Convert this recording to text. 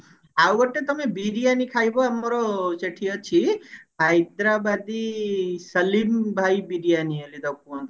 ଆଉ ଗୋଟେ ତମେ ବିରିୟାନୀ ଖାଇବ ଆମର ସେଠି ଅଛି ହାଇଦ୍ରାବାଦୀ ସଲିମ ଭାଇ ବିରିୟାନୀ ବୋଲି କୁହନ୍ତି